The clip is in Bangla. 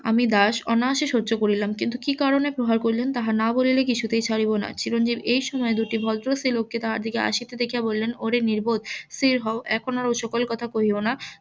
আমি দাস অনায়াসে সহ্য করিলাম কিন্তু কি কারনে প্রহার করিলেন তাহা না বলিলে কিছুতেই ছাড়িব না চিরঞ্জিব এই সময় দুটি ভদ্র লোককে তাহাদিকে আসিতে দেখিয়া বলিলেন ওরে নির্বোধ স্থির হও এখন ওই সকল কথা কহিয়ো না